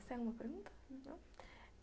Você tem alguma pergunta? não?não?